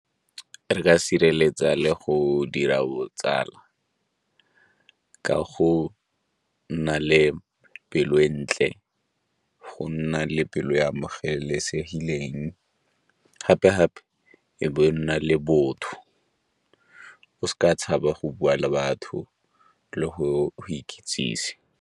Re ka sireletsa le go dira botsala ka go nna le pelo e ntle, go nna le pelo ya gape-gape e be o nna le botho, o seka tshaba go bua le batho le go ikitsise.